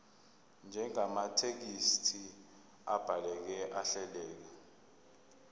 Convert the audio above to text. njengamathekisthi abhaleke ahleleka